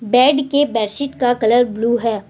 Bed के bedsheet का colour blue है।